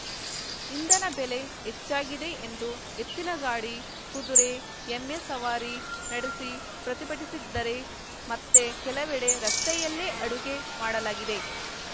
ಇಂಧನ ಬೆಲೆ ಹೆಚ್ಚಾಗಿದೆ ಎಂದು ಎತ್ತಿನಗಾಡಿ ಕುದುರೆ ಎಮ್ಮೆ ಸವಾರಿ ನಡೆಸಿ ಪ್ರತಿಭಟಿಸಿದ್ದರೆ ಮತ್ತೆ ಕೆಲವೆಡೆ ರಸ್ತೆಯಲ್ಲೇ ಅಡುಗೆ ಮಾಡಲಾಗಿದೆ